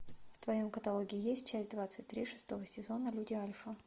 в твоем каталоге есть часть двадцать три шестого сезона люди альфа